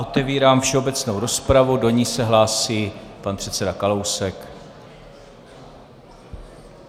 Otevírám všeobecnou rozpravu, do ní se hlásí pan předseda Kalousek.